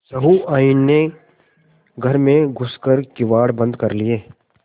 सहुआइन ने घर में घुस कर किवाड़ बंद कर लिये